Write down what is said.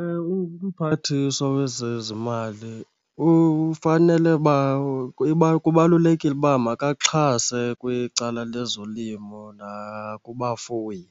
Ewe, Mmphathiswa wezeziMali ufanele uba, kubalulekile uba makaxhase kwicala lezolimo nakubafuyi.